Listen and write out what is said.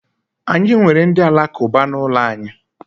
Anyị nwere ndị alakụba n'ụlọ anyị.